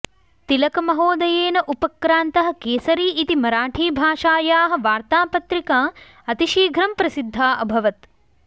तिलकमहोदयेन उपक्रान्तः केसरी इति मराठीभाषायाः वार्तापत्रिका अतिशीघ्रं प्रसिद्धा अभवत्